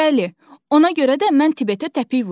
Bəli, ona görə də mən Tibetə təpik vurdum.